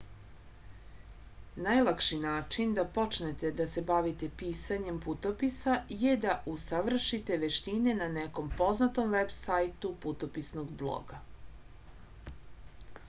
najlakši način da počnete da se bavite pisanjem putopisa je da usavršite veštine na nekom poznatom veb sajtu putopisnog bloga